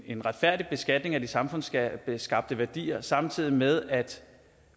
en retfærdig beskatning af de samfundsskabte værdier samtidig med at